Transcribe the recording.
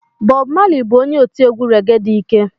Bobu Mali bụ onye otiegwu rege dị ike.